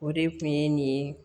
O de kun ye nin